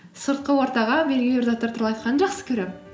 сыртқы ортаға белгілі бір заттар туралы айтқанды жақсы көремін